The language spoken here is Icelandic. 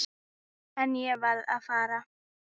En ég varð að fara.